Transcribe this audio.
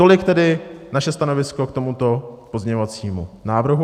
Tolik tedy naše stanovisko k tomuto pozměňovacímu návrhu.